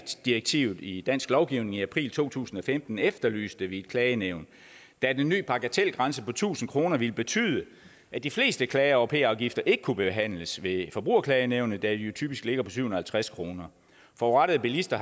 direktivet i dansk lovgivning i april to tusind og femten efterlyste vi et klagenævn da den nye bagatelgrænse på tusind kroner ville betyde at de fleste klager over p afgifter ikke kunne behandles ved forbrugerklagenævnet da de jo typisk ligger på syv halvtreds kroner forurettede bilister